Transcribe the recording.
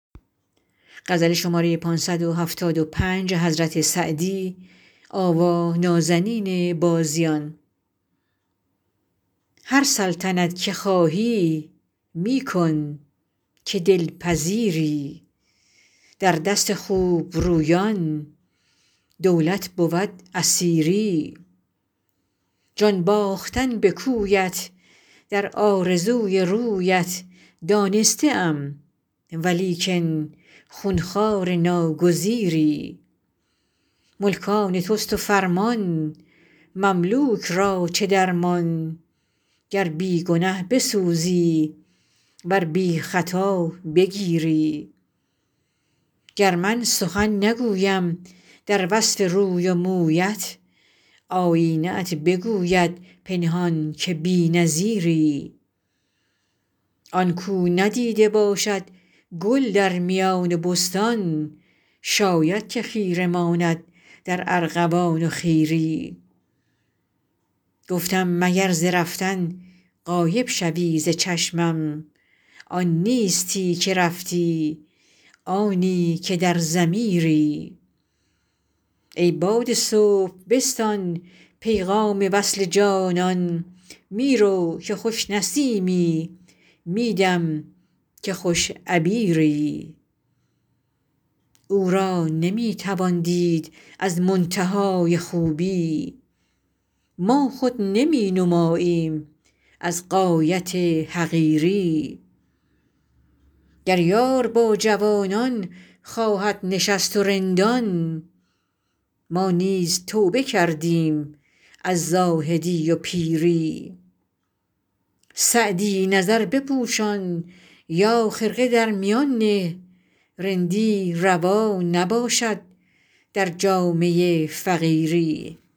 هر سلطنت که خواهی می کن که دل پذیری در دست خوب رویان دولت بود اسیری جان باختن به کویت در آرزوی رویت دانسته ام ولیکن خون خوار ناگزیری ملک آن توست و فرمان مملوک را چه درمان گر بی گنه بسوزی ور بی خطا بگیری گر من سخن نگویم در وصف روی و مویت آیینه ات بگوید پنهان که بی نظیری آن کاو ندیده باشد گل در میان بستان شاید که خیره ماند در ارغوان و خیری گفتم مگر ز رفتن غایب شوی ز چشمم آن نیستی که رفتی آنی که در ضمیری ای باد صبح بستان پیغام وصل جانان می رو که خوش نسیمی می دم که خوش عبیری او را نمی توان دید از منتهای خوبی ما خود نمی نماییم از غایت حقیری گر یار با جوانان خواهد نشست و رندان ما نیز توبه کردیم از زاهدی و پیری سعدی نظر بپوشان یا خرقه در میان نه رندی روا نباشد در جامه فقیری